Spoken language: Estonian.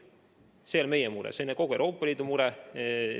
See ei ole ainult meie mure, see on kogu Euroopa Liidu mure.